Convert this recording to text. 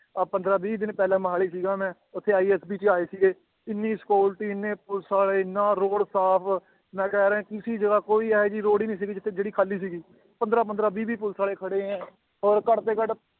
ਆਹ ਪੰਦਰਾਂ ਵੀਹ ਦਿਨ ਪਹਿਲਾਂ ਮੋਹਾਲੀ ਸੀਗਾ ਮੈਂ ਉੱਥੇ ISP ਜੀ ਆਏ ਸੀਗੇ ਇੰਨੀ security ਇੰਨੇ ਪੁਲਿਸ ਵਾਲੇ ਇੰਨਾ road ਸਾਫ਼ ਮੈਂ ਕਹਿ ਰਿਹਾਂ ਕਿਸੇ ਜਗ੍ਹਾ ਕੋਈ ਇਹ ਜਿਹੀ road ਹੀ ਨੀ ਸੀਗੀ ਜਿੱਥੇ ਜਿਹੜੀ ਖਾਲੀ ਸੀਗੀ ਪੰਦਰਾਂ ਪੰਦਰਾਂ ਵੀਹ ਵੀਹ ਪੁਲਿਸ ਵਾਲੇ ਖੜੇ ਹੈ ਔਰ ਘੱਟ ਤੋਂ ਘੱਟ